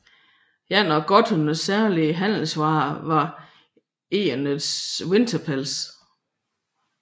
En af gotternes særlige handelsvarer var egernets vinterpels